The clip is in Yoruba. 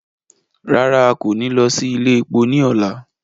Rara, a ko ni lọ si ile epo ni ọla